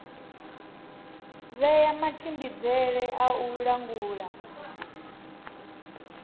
vhea matshimbidzele a u langula